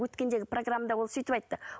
өткендегі программада да ол сөйтіп айтты